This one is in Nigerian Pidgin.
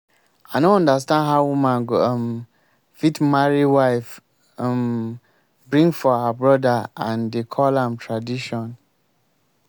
i no understand how woman go um fit marry wife um bring for her brother and dey call am tradition